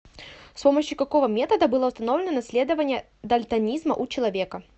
с помощью какого метода было установлено наследование дальтонизма у человека